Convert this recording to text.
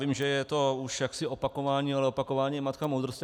Vím, že je to už jaksi opakování, ale opakování je matka moudrosti.